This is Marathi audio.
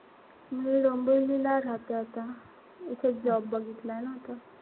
मी डोंबिवलीला राहते आता. इथेच job बघितलाय ना.